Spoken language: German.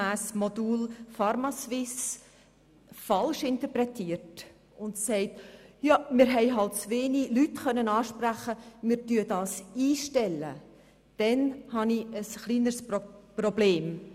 gemäss Modell pharmaSuisse falsch und sagt, man habe zu wenige Leute ansprechen können und werde es daher einstellen, dann habe ich ein Problem.